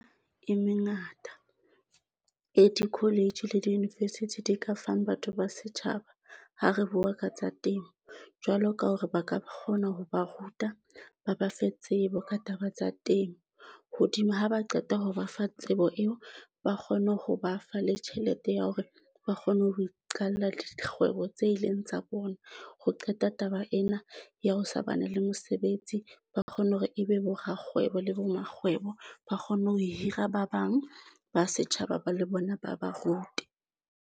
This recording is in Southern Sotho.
E mengata e di-college le di-university di ka fang batho ba setjhaba ha re bua ka tsa temo, jwalo ka hore ba ka kgona ho ba ruta ba ba fe tsebo ka taba tsa temo hodima ha ba qeta ho ba fa tsebo eo, ba kgone ho ba fa le tjhelete ya hore ba kgone ho iqalla dikgwebo tse e leng tsa bona. Ho qeta taba ena ya ho sa bana le mosebetsi, ba kgone hore e be bo rakgwebo le bo makgwebo ba kgone ho hira ba bang ba setjhaba ba le bona, ba ba rute.